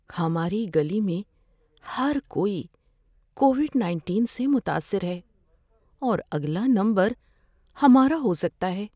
ہماری گلی میں ہر کوئی کووڈ نائنٹین سے متاثر ہے اور اگلا نمبر ہمارا ہو سکتا ہے۔